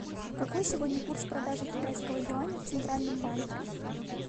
какой сегодня курс продажи китайского юаня в центральном банке